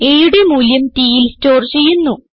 aയുടെ മൂല്യം tൽ സ്റ്റോർ ചെയ്യുന്നു